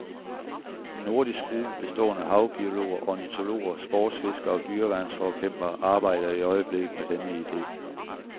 En nordisk gruppe bestående af havbiologer, ornitologer sportsfiskere og dyreværnsforkæmpere arbejder i øjeblikket med denne ide.